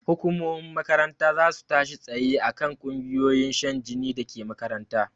Hukumomin makaranta zasu tashi tsaye akan ƙungiyoyin shan jini dake makaranta